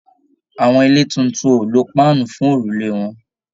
Àwọn ilé títún o lo paanu fún òrùlé wọn.